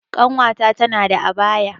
Ƙanwata tana da abaya